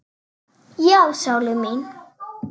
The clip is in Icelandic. Já, sólin mín.